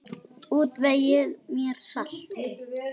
Útvegið mér salt!